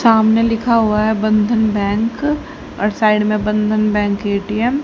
सामने लिखा हुआ है बंधन बैंक और साइड में बंधन बैंक ए_टी_एम --